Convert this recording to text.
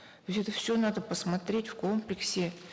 то есть это все надо посмотреть в комплексе